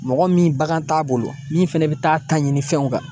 Mɔgɔ min bagan t'a bolo min fɛnɛ bi taa ta ɲini fɛnw kan